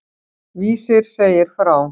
Vísir segir frá.